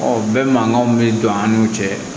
Ɔ bɛɛ mankan bɛ don an n'u cɛ